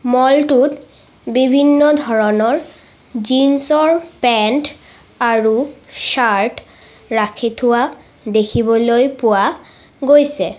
মল টোত বিভিন্ন ধৰণৰ জিনছ ৰ পেন্ট আৰু চাৰ্ট ৰাখি থোৱা দেখিবলৈ পোৱা গৈছে।